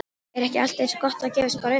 Er ekki allt eins gott að gefast bara upp?